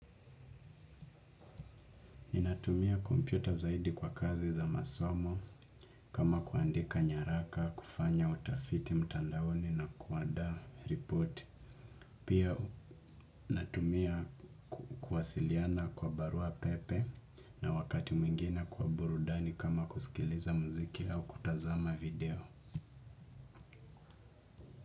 Ninatumia kompyuta zaidi kwa kazi za masomo kama kuandika nyaraka, kufanya utafiti mtandaoni na kuandaa report. Pia natumia kuwasiliana kwa barua pepe na wakati mwingine kwa burudani kama kusikiliza muziki au kutazama video.